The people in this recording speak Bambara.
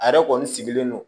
A yɛrɛ kɔni sigilen no